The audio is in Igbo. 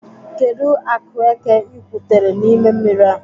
Kedụ akụ eke ị gwutere n'ime mmiri a?